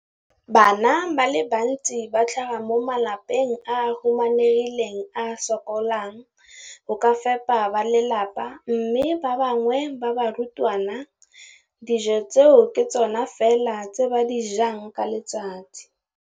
Bana ba le bantsi ba tlhaga mo malapeng a a humanegileng a a sokolang go ka fepa ba lelapa mme ba bangwe ba barutwana, dijo tseo ke tsona fela tse ba di jang ka letsatsi.